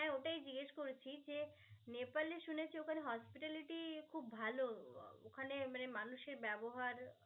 হ্যা ওটাই জিজ্ঞেস করেছি. যে নেপালে শুনেছি ওখানে hospitality খুব ভালো. ওখানে মানে মানুষের ব্যবহার